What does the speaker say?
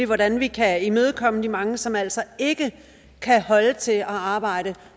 hvordan vi kan imødekomme de mange som altså ikke kan holde til at arbejde